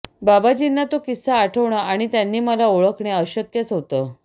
बाबाजींना तो किस्सा आठवणं आणि त्यांनी मला ओळखणे अशक्यच होतं